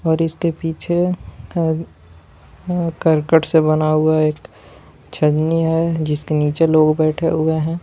और इसके पीछे का अ करकट से बना हुआ एक एक छननी है जिसके नीचे लोग बैठे हुए हैं।